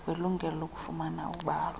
welungelo lokufumana ubalwa